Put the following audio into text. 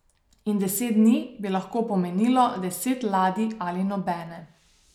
In deset dni bi lahko pomenilo deset ladij ali nobene.